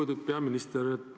Lugupeetud peaminister!